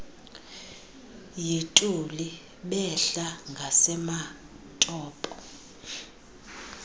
yituli behla ngasematopo